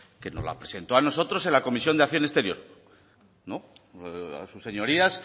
que nos la presentó a nosotros en la comisión de acción exterior no sus señorías